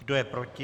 Kdo je proti?